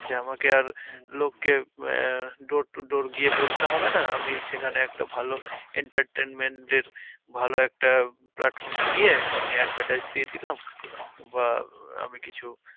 যে আমাকে আর লোককে door to door গিয়ে বলতে হবে না, আমি সেখানে একটা ভালো entertainment দের ভালো একটা platform এ গিয়ে আমি advertise দিয়ে দিলাম বা আমি কিছু